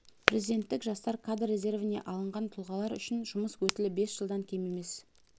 президенттік жастар кадр резервіне алынған тұлғалар үшін жұмыс өтілі бес жылдан кем емес